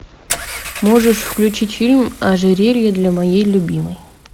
можешь включить фильм ожерелье для моей любимой